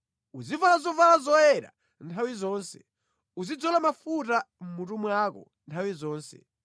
Uzivala zovala zoyera nthawi zonse, uzidzola mafuta mʼmutu mwako nthawi zonse.